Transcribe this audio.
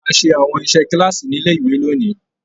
A ṣe àwọn iṣẹ kilaasi nílé ìwé lóni.